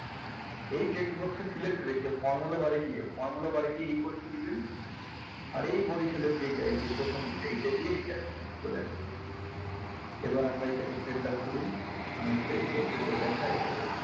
এই text box এ select রেখে formula bar এ গিয়ে formula bar এ গিয়ে formula bar এ গিয়ে দিবেন আর এই বড়িসালের এই যে এইযে প্রথম যে এইটা দিয়ে চলে আসবে এবার আমরা এটাকে central করি মানে text box এ যে দেখায় সেটা কে,